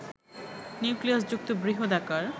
নিউক্লিয়াসযুক্ত বৃহদাকার